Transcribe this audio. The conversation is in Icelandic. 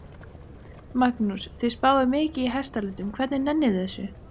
Magnús: Þið spáið mikið í hestalitum, hvernig nennið þið þessu?